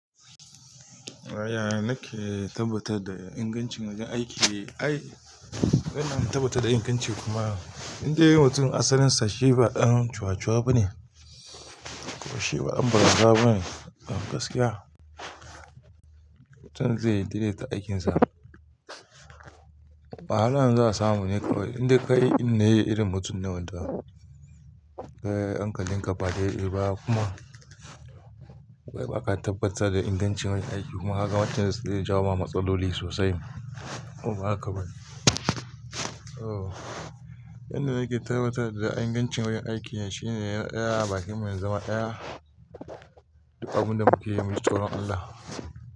Aya nake tabbatar da ingancin wajen aiki. Ai, yana tabbatar da inganci kuma indai mutum asalin sa shi ba ɗan cuwa cuwa ba ne ko shi ba ɗan baraza ba ne a gaskiya. Mutum zai daidaita aikinsa. Muhallan za'a samu ne kawai, indai kai ɗinne irin mutum ne wanda, kai hankalin ka ba dai-dai ba kuma, ba ka tabbatar da ingancin wajen aiki, kuma kaga wancan zai jawo wa matsaloli sosai. Ko ba haka ba ne? Ba ka tabbatar da ingancin wajen aiki, kuma kaga wancan zai jawo wa matsaloli sosai. Duk abun da mukeyi muji tsoron Allah.